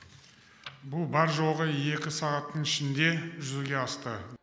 бұл бар жоғы екі сағаттың ішінде жүзеге асты